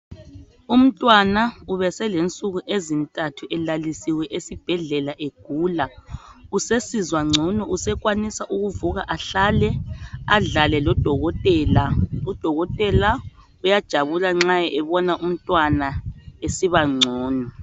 Umntwana ubeselensuku ezintathu elalisiwe esibhedlela egula. Usesizwangcono usekwanisa ukuvuka ahlale adlale lodokotela. Udokotela uyajabula nxa ebona umntwana esibangcono.